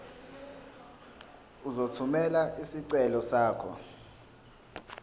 uzothumela isicelo sakho